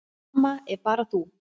Amma er bara þú.